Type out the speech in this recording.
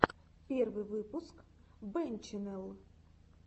первый выпуск бэнччэннел